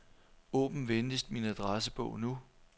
Åbn venligst min adressebog nu.